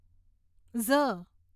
ઝ